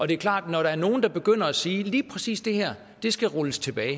det er klart at når der er nogle der begynder at sige at lige præcis det her skal rulles tilbage